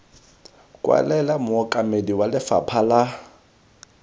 kwalela mookamedi wa lefapha la